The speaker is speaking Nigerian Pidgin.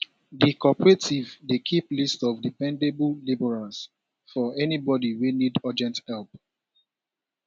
di cooperative dey keep list of dependable labourers for anybody wey need urgent help